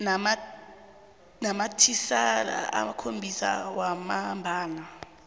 namathisela amakhophi wamambala